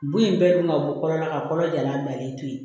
Bon in bɛɛ dun ka bɔ kɔrɔla ka kɔnɔ jalan bilalen to yen